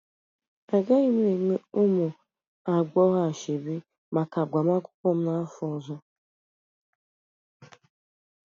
Agaghị m enwe ụmụ agbọghọ ashebi n'agbamakwụkwọ m n'afọ ọzọ.